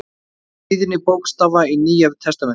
Tíðni bókstafa í Nýja testamentinu.